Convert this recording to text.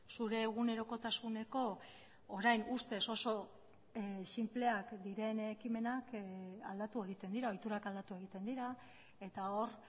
zure egunerokotasuneko orain ustez oso sinpleak diren ekimenak aldatu egiten dira ohiturak aldatu egiten dira eta hor